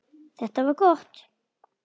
Þetta var gott.